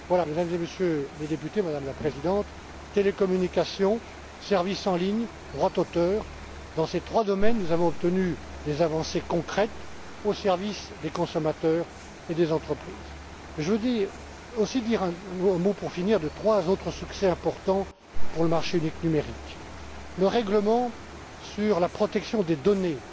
Madame la Présidente, Mesdames et Messieurs les députés, télécommunications, services en ligne, droits d'auteur, dans ces trois domaines nous avons obtenu des avancées concrètes au service des consommateurs et des entreprises. Je voudrais aussi dire un mot pour finir de trois autres succès importants pour le marché unique numérique. Le règlement sur la protection des